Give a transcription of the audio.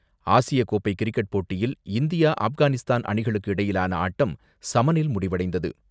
ஆசியக்கோப்பை கிரிக்கெட் போட்டியில் இந்தியா ஆப்கானிஸ்தான் அணிகளுக்கு இடையிலான ஆட்டம் சமனில் முடிவடைந்தது.